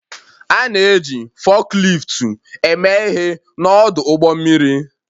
A na-eji fukliftu eme ihe n'ọdụ ụgbọ mmiri